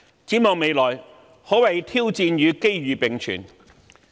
展望未來，可謂挑戰與機遇並存。